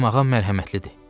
Mənim ağam mərhəmətlidir.